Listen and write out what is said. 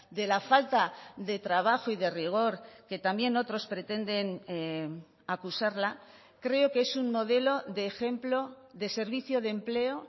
de la falta de trabajo y de rigor que también otros pretenden acusarla creo que es un modelo de ejemplo de servicio de empleo